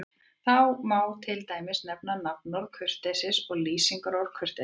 Þar má til dæmis nefna nafnorðið kurteisi og lýsingarorðið kurteis.